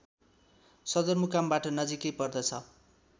सदरमुकामबाट नजिकै पर्दछ